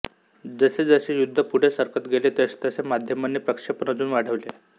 जसजसे युद्ध पुढे सरकत गेले तसतसे माध्यमांनी प्रक्षेपण अजून वाढवले